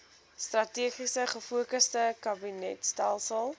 strategies gefokusde kabinetstelsel